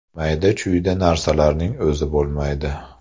Mayda-chuyda narsaning o‘zi bo‘lmaydi.